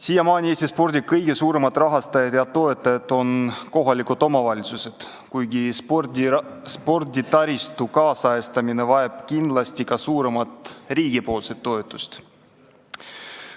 Siiamaani on Eesti spordi kõige suuremad rahastajad ja toetajad olnud kohalikud omavalitsused, kuigi sporditaristu nüüdisajastamine vajab kindlasti ka suuremat riigi toetust.